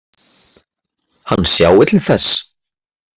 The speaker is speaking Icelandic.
Hann sjái til þess.